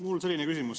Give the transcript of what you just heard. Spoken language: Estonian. Mul on selline küsimus.